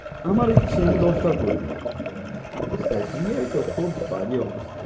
আমার ইচ্ছে আমি দশটা করি তো খুব বাজে অবস্থা।